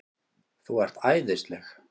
ÞÚ ERT ÆÐISLEG!